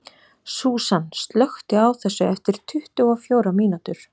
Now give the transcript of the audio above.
Súsan, slökktu á þessu eftir tuttugu og fjórar mínútur.